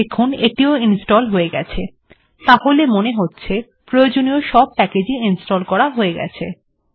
দেখুন এটিও ইনস্টল্ হয়ে গেছে তাহলে মনে হচ্ছে প্রয়োজনীয় সব প্যাকেজ্ ই ইনস্টল্ করা হয়ে গেছে